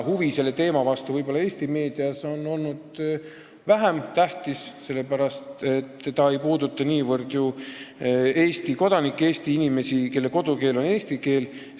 Huvi selle teema vastu on Eesti meedias olnud väiksem, sellepärast et see ei puuduta niivõrd Eesti kodanikke ja inimesi, kelle kodukeel on eesti keel.